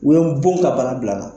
U ye n bon ka bana bila n na.